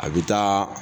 A bɛ taa